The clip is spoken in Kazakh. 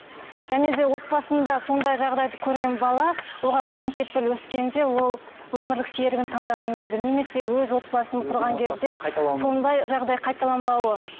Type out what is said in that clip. және де отбасында сондай жағдайды көрген бала оған кім кепіл өскенде ол өмірлік серігін таңдаған кезде немесе өз отбасын құрған кезде сондай жағдай қайталанбауы